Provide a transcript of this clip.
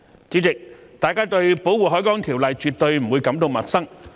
主席，大家對《條例》絕不會感到陌生。